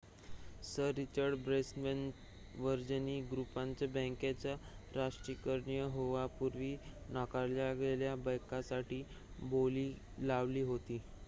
sir Richard ब्रॅन्सनच्या Virgin ग्रुपने बँकेचे राष्ट्रीयकरण होण्यापूर्वी नाकारलेल्या बँकेसाठी बोली लावली होती